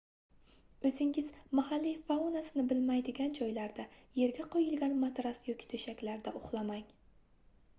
oʻzingiz mahalliy faunasini bilmaydigan joylarda yerga qoʻyilgan matras yoki toʻshakda uxlamang